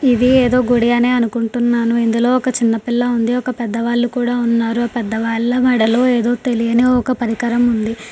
ఇది ఏదో గుడి అనే అనుకుంటున్నాను. ఇందులో ఒక చిన్న పిల్లా ఉంది. ఒక పెద్ద వాళ్ళు కూడా ఉన్నారు పెద్ద వాళ్ళ మెడలో ఏదో తెలియని ఒక పరికరం ఉంది.